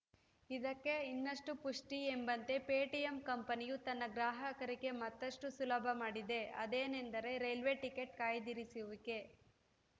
ಇದಕ್ಕೆ ಇನ್ನಷ್ಟುಪುಷ್ಟಿಎಂಬಂತೆ ಪೇಟಿಎಂ ಕಂಪನಿಯು ತನ್ನ ಗ್ರಾಹಕರಿಗೆ ಮತ್ತಷ್ಟುಸುಲಭ ಮಾಡಿದೆ ಅದೇನೆಂದರೆ ರೈಲ್ವೆ ಟಿಕೆಟ್‌ ಕಾಯ್ದಿರಿಸುವಿಕೆ